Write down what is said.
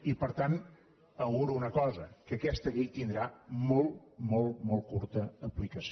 i per tant auguro una cosa que aquesta llei tindrà molt molt molt curta aplicació